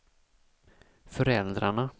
föräldrarna